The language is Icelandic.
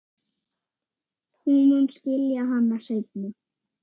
Hún mun skilja hana seinna.